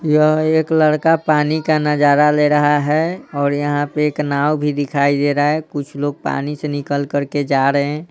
यह एक लड़का पानी का नजारा ले रहा है और यहां पे एक नाव भी दिखाई दे रहा है कुछ लोग पानी से निकल कर के जा रहे हैं।